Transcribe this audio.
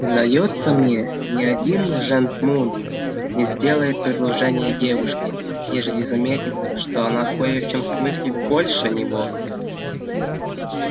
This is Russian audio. сдаётся мне ни один жентмун не сделает предложения девушке ежели заметит что она кое в чем смыслит больше него